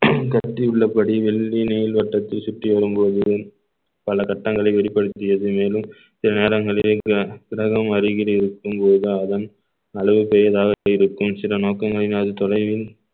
கத்தி உள்ளபடி வெள்ளி நீல் வட்டத்தில் சுற்றி வரும்போது பல கட்டங்களை வெளிப்படுத்தியது மேலும் சில நேரங்களில் கிர~ கிரகம் அருகில் இருக்கும் போது அதன் அளவு பெரிதாக நோக்கங்களினால் தொலைவில்